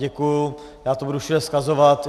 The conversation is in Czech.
Děkuji, já to budu všude vzkazovat.